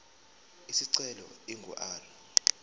isicelo ingu r